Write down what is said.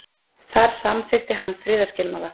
Þar samþykkti hann friðarskilmála.